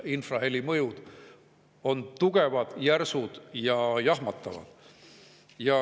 Infraheli mõjud on tugevad, järsud ja jahmatavad.